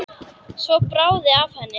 Svo bráði af henni.